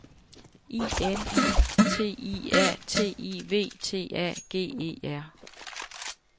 I N I T I A T I V T A G E R